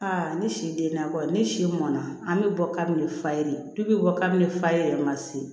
ne si denna ko ne si mɔnna an bɛ bɔ kabini fa ye dubi bɔ kabini faye yɛrɛ ma se